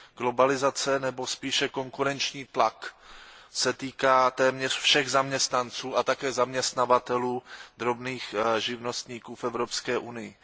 Globalizace nebo spíše konkurenční tlak se týká téměř všech zaměstnanců a také zaměstnavatelů, drobných živnostníků v Evropské unii.